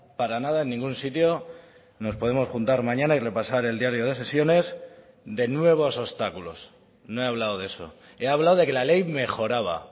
para nada en ningún sitio nos podemos juntar mañana y repasar el diario de sesiones de nuevos obstáculos no he hablado de eso he hablado de que la ley mejoraba